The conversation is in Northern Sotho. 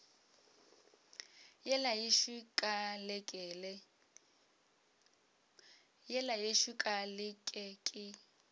yela yešo ka leke ke